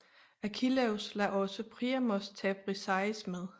Achilleus lader også Priamos tage Briseis med